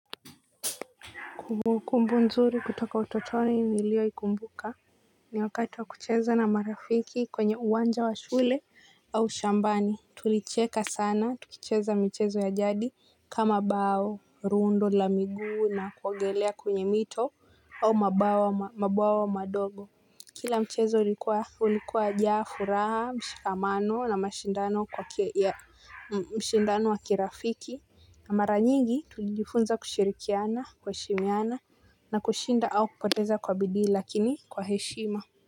Kumbu nzuri kutoka utotoni nilioikumbuka ni wakati wa kucheza na marafiki kwenye uwanja wa shule au shambani. Tulicheka sana, tukucheza mchezo ya jadi kama bao, rundo, la miguu na kuogelea kwenye mito au mabawa madogo. Kila mchezo ulikuwa ulikuwa wajaa furaha, mshikamano na mashindano kwa mshindano wa kirafiki mara nyingi tulijifunza kushirikiana, kuheshimiana na kushinda au kupoteza kwa bidii lakini kwa heshima.